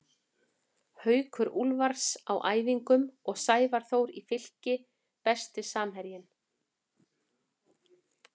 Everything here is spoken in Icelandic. Haukur Úlfars á æfingum og Sævar Þór í Fylki Besti samherjinn?